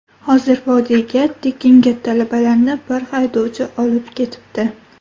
Hozir vodiyga tekinga talabalarni bir haydovchi olib ketibdi.